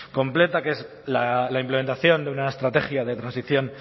completa que es la implementación de una estrategia de transición